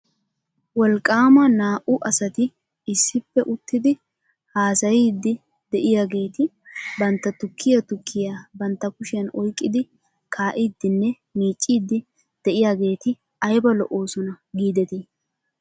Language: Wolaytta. Wolqaama naa'u asati issippe uttidi haasayiidi de'iyaageeti bantta tukkiyaa tukkiyaa bantta kushiyan oyqqidi kaa'iiddinne miicciiddi de'iyaageeti ayba lo'oosona giidetii .